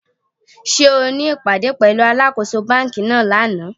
Sé o ní ìpàdé pẹ̀lúu alákōso banki náà lánàá?